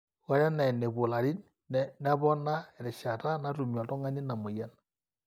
ore enaa enepuo ilarin nepona erishata natumie oltung'ani ina mweyian